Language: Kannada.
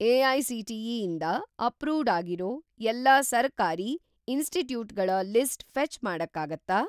ಎ.ಐ.ಸಿ.ಟಿ.ಇ. ಇಂದ ಅಪ್ರೂವ್ಡ್‌ ಆಗಿರೋ ಎಲ್ಲಾ ಸರ್ಕಾರಿ ಇನ್‌ಸ್ಟಿಟ್ಯೂಟ್‌ಗಳ ಲಿಸ್ಟ್ ಫೆ಼ಚ್‌ ಮಾಡಕ್ಕಾಗತ್ತಾ?